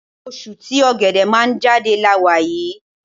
Oṣù tí Ọ̀gẹ̀dẹ̀ máa ń jáde la wà yí.